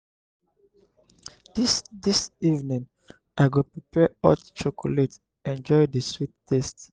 dis dis evening i go prepare hot chocolate enjoy di sweet taste.